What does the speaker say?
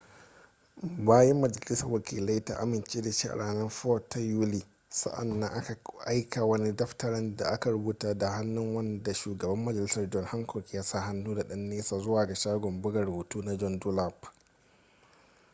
bayan majalisar wakilai ta amince da shi a ranar 4 ta yuli sa'an nan aka aika wani daftarin da aka rubuta da hannu wanda shugaban majalisar john hancock ya sa hannu da ɗan nesa zuwa ga shagon buga rubutu na john dunlap